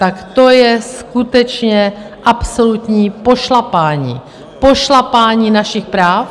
Tak to je skutečně absolutní pošlapání - pošlapání našich práv.